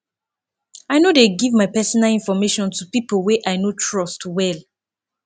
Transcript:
i no dey give my personal information to people wey i no trust well